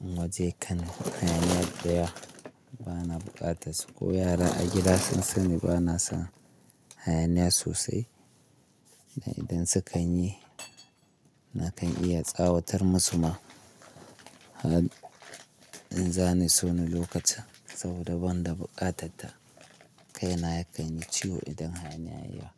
In naje kano hayaniya dayawa, bana buƙatas su. Ko yara a gida, sun sani bana son hayaniya sosai. Da idan su kan yi, nakan iya tsawatar musu ma. In zani so ni lokacin saboda ban da buƙatatta, kaina ya kan yi ciwo idan hayaniya ya yi yawa.